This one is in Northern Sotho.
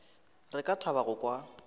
re ka thaba go kwa